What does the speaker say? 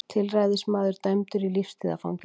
Tilræðismaður dæmdur í lífstíðarfangelsi